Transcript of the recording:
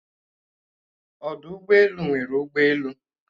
Ọdụ ụgbọelu nwere ụgbọelu